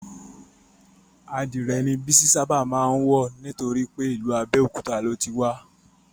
Adìrè ni Bísí ṣábà má ń wọ̀ nítorípé ìlú Abéòkúta ni o ti wá